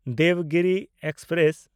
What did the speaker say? Devagiri express